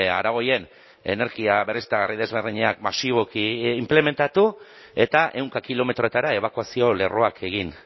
aragoien energia berriztagarri desberdinak masiboki inplementatu eta ehunka kilometrotara ebakuazio lerroak egin